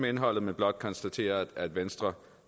indholdet men blot konstatere at venstre